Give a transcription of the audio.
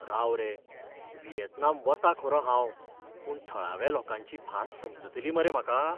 राव रे, व्हिएतनाम वतां खरों हांव, पूण थळाव्या लोकांची भास समजतली मरे म्हाका?